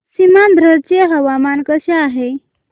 सीमांध्र चे हवामान कसे आहे